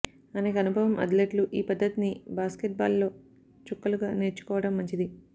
అనేక అనుభవం అథ్లెట్లు ఈ పద్ధతిని బాస్కెట్బాల్ లో చుక్కలుగా నేర్చుకోవడం మంచిది